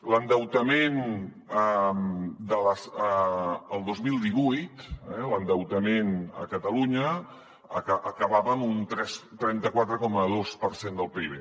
l’endeutament el dos mil divuit l’endeutament a catalunya acabava amb un trenta quatre coma dos per cent del pib